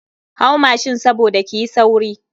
Hau mashin saboda kiyi sauri.